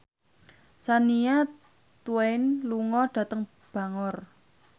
Shania Twain lunga dhateng Bangor